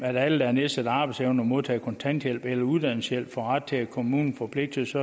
at alle der har nedsat arbejdsevne og modtager kontanthjælp eller uddannelseshjælp får ret til at kommunen forpligtes